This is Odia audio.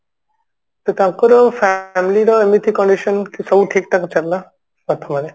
ତ ତାଙ୍କର family ର ଏମିତି condition କି ସବୁ ଠିକ ଠାକ ଚାଲିଲା ପ୍ରଥମରେ